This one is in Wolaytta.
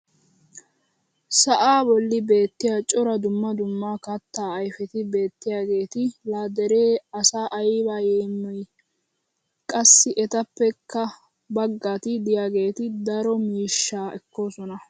sa'aa boli beetiya cora dumma dumma kataa ayfeti beetiyaageeti laa deree asaa ayba yeemmiyii! qassi etappekka bagati diyaageeti daro miishshaa ekkoosona.